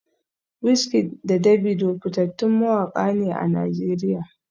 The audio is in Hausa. WizKid da Davido fitattun mawaka ne a Najeriya